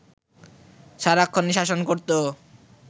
সারাক্ষণই শাসন করতো